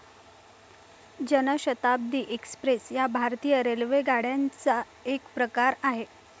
जन शताब्दी एक्स्प्रेस या भारतीय रेल्वेगाड्यांचा एक प्रकार आहे.